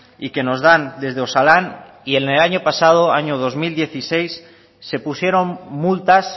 y que nos dan desde osalan y en el año pasado año dos mil dieciséis se pusieron multas